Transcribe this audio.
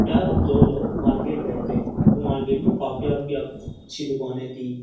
यार हम दो लोग मार्केट गए थे तो मार्केट में काफी अच्छी दुकाने थी।